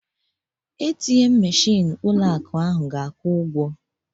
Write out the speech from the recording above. ATM meshịn ụlọ akụ ahụ ga-akwụ ụgwọ